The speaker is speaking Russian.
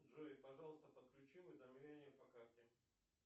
джой пожалуйста подключи уведомления по карте